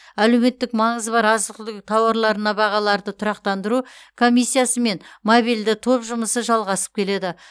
әлеуметтік маңызы бар азық түлік тауарларына бағаларды тұрақтандыру комиссиясы мен мобильді топ жұмысы жалғасып келеді